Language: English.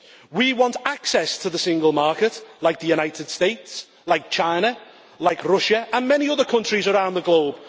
We want access to the single market, like the United States, like China, like Russia and many other countries around the globe.